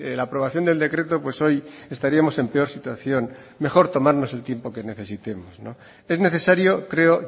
la aprobación del decreto pues hoy estaríamos en peor situación mejor tomarnos el tiempo que necesitemos es necesario creo